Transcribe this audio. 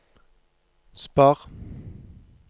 spar